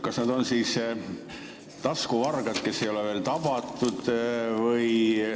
Kas nad on siis taskuvargad, kes ei ole veel tabatud?